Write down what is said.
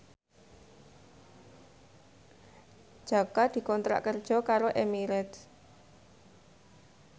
Jaka dikontrak kerja karo Emirates